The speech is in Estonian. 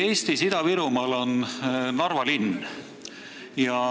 Eestis Ida-Virumaal on Narva linn.